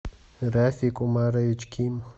рафик умарович ким